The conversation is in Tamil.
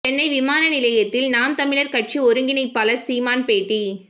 சென்னை விமான நிலையத்தில் நாம் தமிழர் கட்சி ஒருங்கிணைப்பாளர் சீமான் பேட்டி